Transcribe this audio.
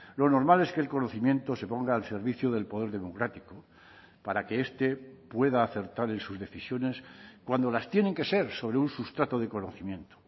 lo normal es que el conocimiento se ponga al servicio del poder democrático para que este pueda acertar en sus decisiones cuando las tienen que ser sobre un sustrato de conocimiento